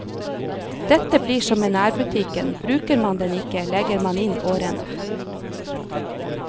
Dette blir som med nærbutikken, bruker man den ikke, legger man inn årene.